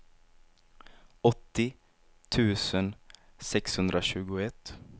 åttio tusen sexhundratjugoett